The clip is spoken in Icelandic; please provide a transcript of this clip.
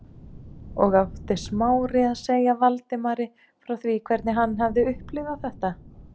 Og átti Smári að segja Valdimari frá því hvernig hann hafði upplifað þetta?